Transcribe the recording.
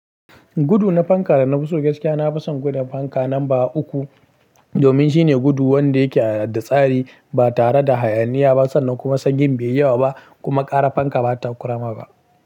Gudu na fanka da na fivso gaskiya na fi son gudun fanka namba uku domin shine gudu wanda yake da tsari ba tare da hayaniya ba sannan kuma sanyin bai yawa ba kuma ƙarar fanka ba ta ƙurama ba.